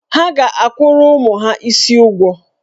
Ha ga-akwụrụ ụmụ ha isii ụgwọ.